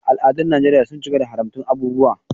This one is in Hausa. Al’adun Najeriya sun cika da haramtattun abubuwa.